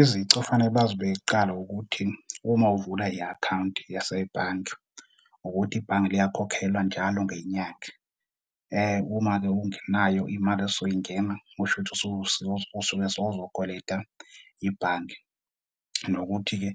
Izici ofanele bazibeke kuqala ukuthi uma uvula i-akhawunti yasebhange, ukuthi ibhange liyakhokhelwa njalo ngenyanga. Uma-ke ungenayo imali esuke ingena kushuthi usuke sewuzokweleta ibhange. Nokuthi-ke